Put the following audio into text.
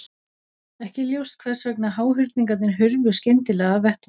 Ekki er ljóst hvers vegna háhyrningarnir hurfu skyndilega af vettvangi.